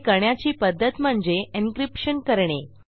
हे करण्याची पध्दत म्हणजे एन्क्रिप्शन करणे